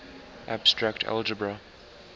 abstract algebra